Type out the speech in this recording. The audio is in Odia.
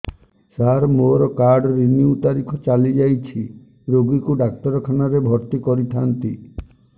ସାର ମୋର କାର୍ଡ ରିନିଉ ତାରିଖ ଚାଲି ଯାଇଛି ରୋଗୀକୁ ଡାକ୍ତରଖାନା ରେ ଭର୍ତି କରିଥାନ୍ତି